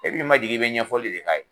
E bi ma jigi i bi ɲɛfɔli de k'a ye.